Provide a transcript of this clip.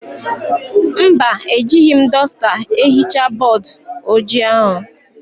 Mba, ejighi m dọsta ehichaa bọọdụ ojii ahụ.